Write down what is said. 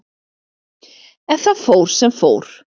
En það fór sem fór.